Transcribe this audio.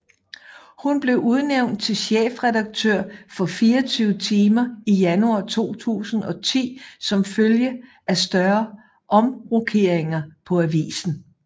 Hun blev udnævnt til chefredaktør for 24timer i januar 2010 som følge af større omrokeringer på avisen